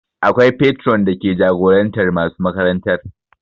Akwai patron dake jagorantar masu makarantar